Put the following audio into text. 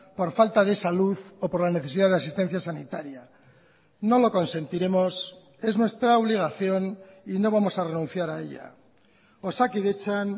por falta de salud o por la necesidad de asistencia sanitaria no lo consentiremos es nuestra obligación y no vamos a renunciar a ella osakidetzan